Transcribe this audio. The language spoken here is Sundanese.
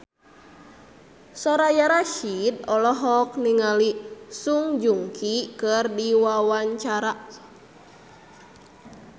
Soraya Rasyid olohok ningali Song Joong Ki keur diwawancara